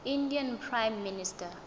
indian prime minister